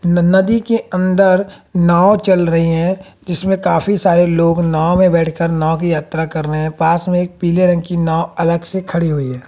न नदी के अंदर नाव चल रही है जीसमें काफी सारे लोग नाव में बैठकर नाव की यात्रा कर रहे हैं पास में एक पीले रंग की नाव अलग से खड़ी हुई है।